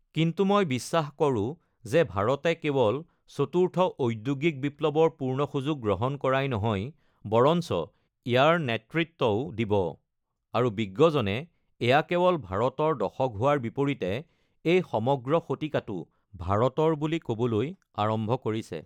কিন্তু মই বিশ্বাস কৰো যে ভাৰতে কেৱল চতুৰ্থ ঔদ্যোগিক বিপ্লৱৰ পূৰ্ণ সুযোগ গ্ৰহণ কৰাই নহয়, বৰঞ্চ ইয়াৰ নেতৃত্বও দিব আৰু বিজ্ঞজনে এয়া কেৱল ভাৰতৰ দশক হোৱাৰ বিপৰীতে এই সমগ্ৰ শতিকাটো ভাৰতৰ বুলি ক'বলৈ আৰম্ভ কৰিছে।